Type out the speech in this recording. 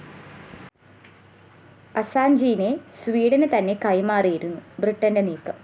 അസാഞ്ചിനെ സ്വീഡന് തന്നെ കൈമാറാനായിരുന്നു ബ്രിട്ടന്റെ നീക്കം